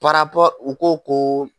u ko ko